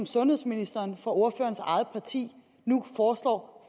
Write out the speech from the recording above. sundhedsministeren fra ordførerens eget parti nu foreslår